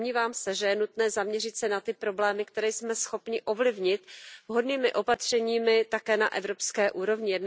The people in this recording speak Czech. Domnívám se, že je nutné zaměřit se na ty problémy, které jsme schopni ovlivnit vhodnými opatřeními také na evropské úrovni.